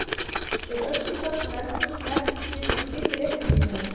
Er öskufall úr eldgosinu ekkert að setja strik í reikninginn hjá ykkur?